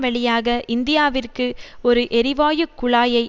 வழியாக இந்தியாவிற்கு ஒரு எரிவாயு குழாயை